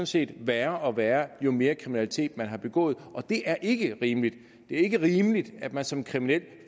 set værre og værre jo mere kriminalitet man har begået og det er ikke rimeligt ikke rimeligt at man som kriminel